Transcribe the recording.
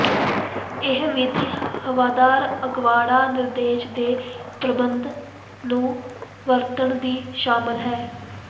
ਇਹ ਵਿਧੀ ਹਵਾਦਾਰ ਅਗਵਾੜਾ ਨਿਰਦੇਸ਼ ਦੇ ਪ੍ਰਬੰਧ ਨੂੰ ਵਰਤਣ ਦੀ ਸ਼ਾਮਲ ਹੈ